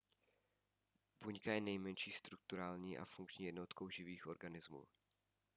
buňka je nejmenší strukturální a funkční jednotkou živých organismů